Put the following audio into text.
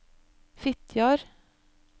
Fitjar